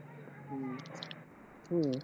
हम्म